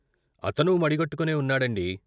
" అతనూ మడిగట్టుకునే ఉన్నాడండీ....